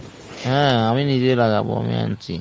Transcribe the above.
হ্যাঁ আমি নিজে লাগাবো আমি আনছি।